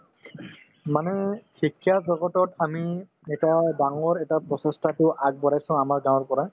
মানে শিক্ষা জগতত আমি এটা ডাঙৰ এটা প্ৰচেষ্টাতো আগবঢ়াই চাওঁ আমাৰ গাঁৱৰ পৰা